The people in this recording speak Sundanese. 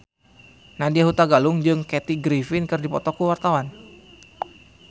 Nadya Hutagalung jeung Kathy Griffin keur dipoto ku wartawan